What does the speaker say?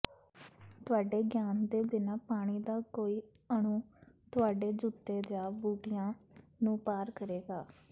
ਤੁਹਾਡੇ ਗਿਆਨ ਦੇ ਬਿਨਾਂ ਪਾਣੀ ਦਾ ਕੋਈ ਅਣੂ ਤੁਹਾਡੇ ਜੁੱਤੇ ਜਾਂ ਬੂਟਿਆਂ ਨੂੰ ਪਾਰ ਕਰੇਗਾ